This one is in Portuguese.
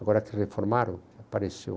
Agora que reformaram, apareceu.